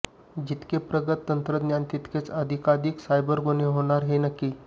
जितके प्रगत तंत्रज्ञान तितकेच अधिकाधिक सायबर गुन्हे होणार हे नक्की